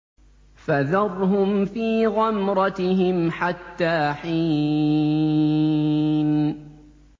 فَذَرْهُمْ فِي غَمْرَتِهِمْ حَتَّىٰ حِينٍ